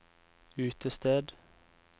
utested